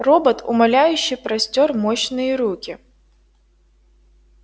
робот умоляюще простёр мощные руки